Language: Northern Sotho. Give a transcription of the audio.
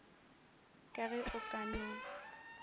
ka ge o ka no